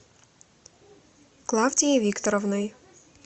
клавдией викторовной